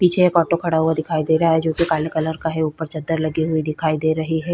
पीछे एक ऑटो खड़ा हुआ दिखाई दे रहा है जो की काले कलर का है ऊपर चद्दर लगे हुए दिखाई दे रहे हैं।